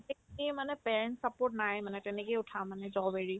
সেইখিনিৰ মানে parents support নাই মানে তেনেকে উঠা মানে job এৰি